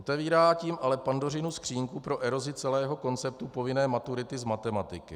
Otevírá tím ale Pandořinu skříňku pro erozi celého konceptu povinné maturity z matematiky.